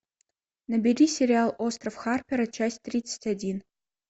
набери сериал остров харпера часть тридцать один